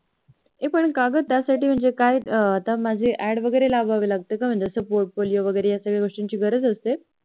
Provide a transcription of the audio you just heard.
ए पण काग त्याच्या साठी म्हणजे काय मला माझीही Ad वैगेरे लागवावी लागते का म्हणजे माझा Portfolio या सर्व गोष्टींची गरज असते